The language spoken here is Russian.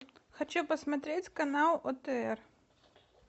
хочу посмотреть канал отр